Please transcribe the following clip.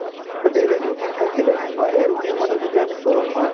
to daily routine থাকিলে সেই routine মতে যদি আমি চলো নহয়